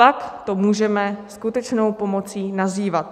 Pak to můžeme skutečnou pomocí nazývat.